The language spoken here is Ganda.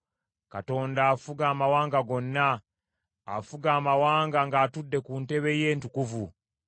Katonda afuga amawanga gonna; afuga amawanga ng’atudde ku ntebe ye entukuvu.